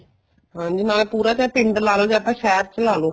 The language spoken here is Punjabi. ਹਾਂਜੀ ਹਾਂ ਪੂਰਾ ਚਾਹੇ ਪਿੰਡ ਲਾ ਲੋ ਜਾਂ ਤਾਂ ਸ਼ਹਿਰ ਚ ਲਾਲੋ